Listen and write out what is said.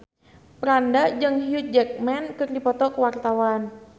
Franda jeung Hugh Jackman keur dipoto ku wartawan